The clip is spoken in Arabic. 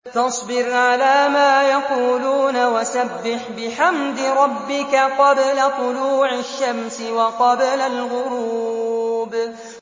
فَاصْبِرْ عَلَىٰ مَا يَقُولُونَ وَسَبِّحْ بِحَمْدِ رَبِّكَ قَبْلَ طُلُوعِ الشَّمْسِ وَقَبْلَ الْغُرُوبِ